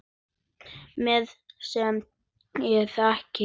Maður, sem ég þekki.